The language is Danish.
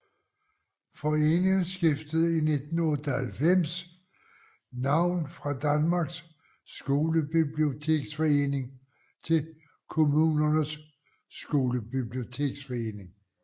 Foreningen skiftede i 1998 navn fra Danmarks Skolebiblioteksforening til Kommunernes Skolebiblioteksforening